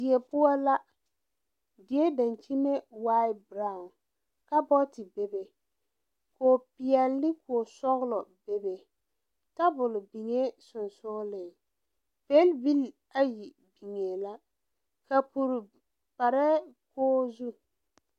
Die poɔ la die dankyinme waa brown kaabɔɔte bebe popeɛlle ne posɔglɔ bebe tabol biŋee sensoglen pelbil ayi biŋee la kapure parɛɛ kogri zu.